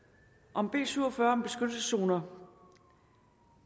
om b syv og fyrre om beskyttelseszoner